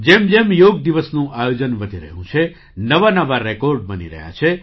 જેમ જેમ યોગ દિવસનું આયોજન વધી રહ્યું છે નવા નવા રેકૉર્ડ બની રહ્યા છે